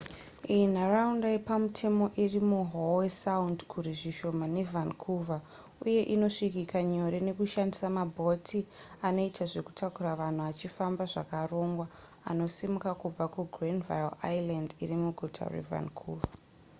iyi nharaunda yepamutemo iri muhowe sound kure zvishoma nevancouver uye inosvikika nyore nekushandisa mabhoti anoita zvekutakura vanhu achifamba zvakarongwa anosimuka kubva kugranville island iri muguta revancouver